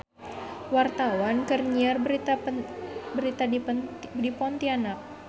Wartawan keur nyiar berita di Pontianak